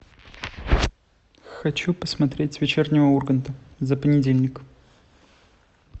хочу посмотреть вечернего урганта за понедельник